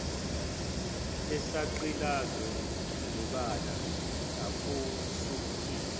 esagqilazwa ngebala akusukile